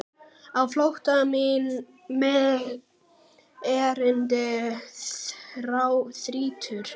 Á flótta mig erindi þrýtur.